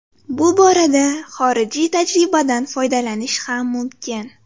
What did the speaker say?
Bu borada xorijiy tajribadan foydalanish ham mumkin.